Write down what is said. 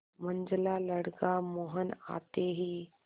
मंझला लड़का मोहन आते ही